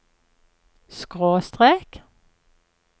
skråstrek